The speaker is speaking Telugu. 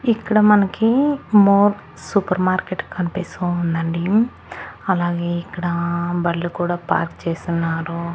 ఇక్కడ మనకి మోర్ సూపర్ మార్కెట్ కనిపిస్తూ ఉందండి అలాగే ఇక్కడ బండ్లు కూడా పార్క్ చేసున్నారు.